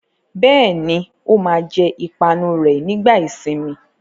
Bẹ́ẹ̀ ni, ó máa jẹ ìpanu rẹ̀ nígbà ìsìnmi.